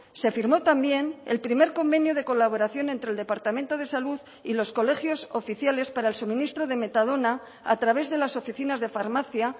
se firmó también el primer convenio de colaboración entre el departamento de salud y los colegios oficiales para el suministro de metadona a través de las oficinas de farmacia